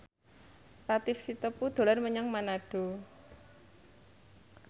Latief Sitepu dolan menyang Manado